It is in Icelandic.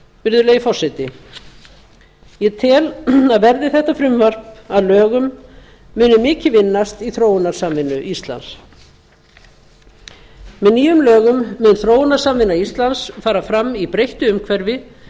virðulegi forseti ég tel að verði þetta frumvarp að lögum muni mikið vinnast í þróunarsamvinnu íslands með nýjum lögum mun þróunarsamvinna íslands fara fram í breyttu umhverfi